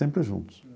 Sempre juntos.